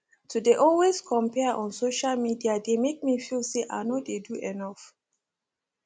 to dey always compare on social media dey make me feel say i no dey do enough